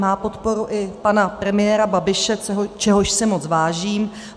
Má podporu i pana premiéra Babiše, čehož si moc vážím.